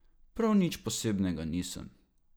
Prav nič posebnega nisem.